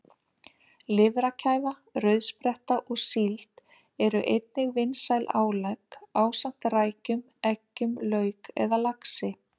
Lifrarkæfa, rauðspretta og síld eru einnig vinsæl álegg ásamt rækjum, eggjum, lauk eða laxi.